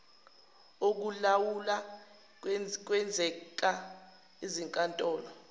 okulawula kuyenzeka izinkantolo